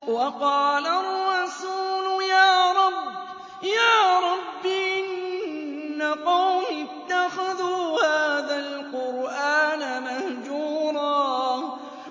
وَقَالَ الرَّسُولُ يَا رَبِّ إِنَّ قَوْمِي اتَّخَذُوا هَٰذَا الْقُرْآنَ مَهْجُورًا